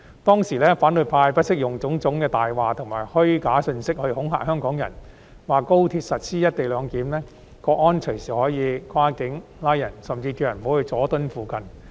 當時，反對派不惜用種種謊言及虛假信息來恐嚇香港人，說高鐵實施"一地兩檢"，國安隨時可以跨境作出拘捕，他們甚至叫市民不要前往佐敦一帶。